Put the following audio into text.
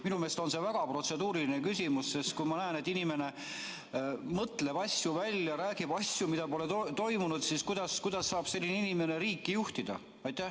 Minu meelest on see väga protseduuriline küsimus, sest kui ma näen, et inimene mõtleb asju välja, räägib asjadest, mida pole toimunud, siis kuidas saab selline inimene riiki juhtida.